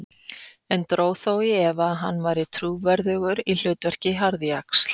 En dró þó í efa að hann væri trúverðugur í hlutverki harðjaxls.